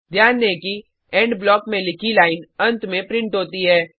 ध्यान दें कि इंड ब्लॉक में लिखी लाइन अंत में प्रिंट होती है